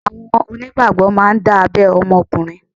Àwọn onígbàgbọ́ máa ń dábẹ́ ọmọkùnrin.